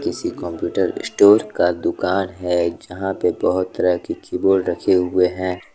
किसी computer store का दुकान है जहां पे बहुत तरह के कीबोर्ड रखे हुए हैं।